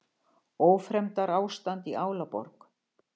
Ófremdarástand í Álaborg